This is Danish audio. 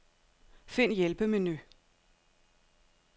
Find hjælpemenu.